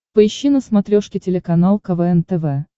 поищи на смотрешке телеканал квн тв